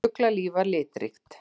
Fuglalíf var litríkt.